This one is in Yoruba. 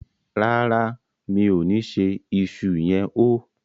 ràrá mi'o ní ṣe iṣu yen hó.